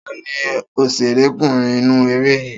Ta ni òṣèrekúnrin inú eré yìí?